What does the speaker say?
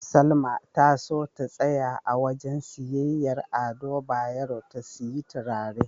Salma ta so ta tsaya a wajen siyayyar Ado Bayero ta siyi turare.